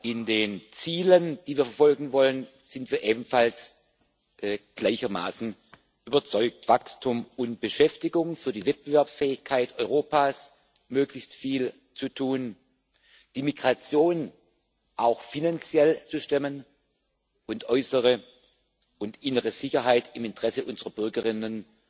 In den Zielen, die wir verfolgen wollen, sind wir ebenfalls gleichermaßen überzeugt Wachstum und Beschäftigung, für die Wettbewerbsfähigkeit Europas möglichst viel zu tun, die Migration auch finanziell zu stemmen und äußere und innere Sicherheit im Interesse unserer Bürgerinnen